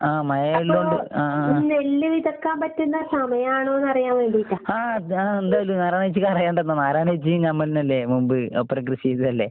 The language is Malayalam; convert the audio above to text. ആഹ് മഴയിള്ളോണ്ട് ആഹ്, ആഹ് അതാണ് എന്തായിത് നാരായണേച്ചിക്ക് അറിയാണ്ടുണ്ടോ? നാരായണേച്ചിയും നമ്മളെന്നെയല്ലേ മുമ്പ് ഒപ്പനെ കൃഷി ചെയ്തതല്ലേ?